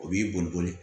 O b'i boli boli